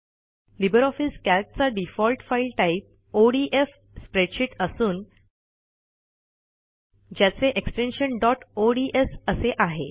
Libre office कॅल्कचा default file type ODF spreadsheet असून ज्याचे एक्सटेन्शन डॉट ओडीएस असे आहे